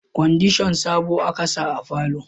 Kwandishan sabo a ka sa a falo